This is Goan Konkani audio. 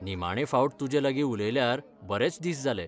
निमाणें फावट तुजेलागीं उलयल्यार बरेच दिस जाले.